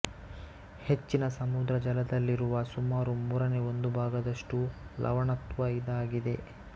ಹೆಚ್ಚಿನ ಸಮುದ್ರ ಜಲದಲ್ಲಿರುವ ಸುಮಾರು ಮೂರನೇ ಒಂದು ಭಾಗದಷ್ಟು ಲವಣತ್ವ ಇದಾಗಿದೆ